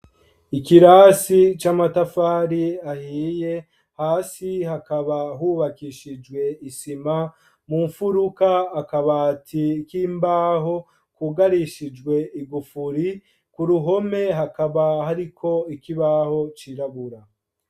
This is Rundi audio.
Ikirasi c'amatafari ahiye, hasi hakaba hubakishijwe isima, mu mfuruka, akabati k'imbaho, kugarishijwe igufuri, ku ruhome, hakaba hariko ikibaho cirabura.